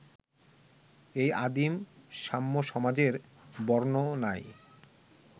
এই আদিম সাম্যসমাজের বর্ণনায়